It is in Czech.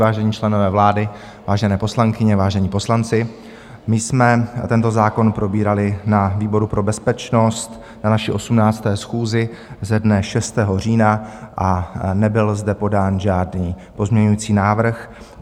Vážení členové vlády, vážené poslankyně, vážení poslanci, my jsme tento zákon probírali na výboru pro bezpečnost na naší 18. schůzi ze dne 6. října a nebyl zde podán žádný pozměňující návrh.